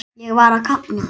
Ég var að kafna.